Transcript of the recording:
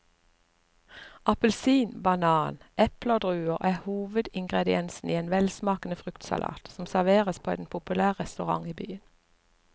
Appelsin, banan, eple og druer er hovedingredienser i en velsmakende fruktsalat som serveres på en populær restaurant i byen.